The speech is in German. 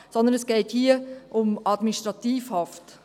Hier geht es aber vielmehr um Administrativhaft.